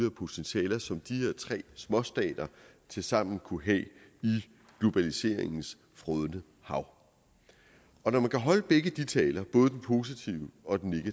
og potentialer som de her tre småstater tilsammen kunne have i globaliseringens frådende hav når man kan holde begge taler både den positive og den